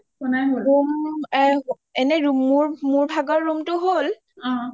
Rome কেইটা এনে মোৰ ভাগৰ ৰোটো হ’ল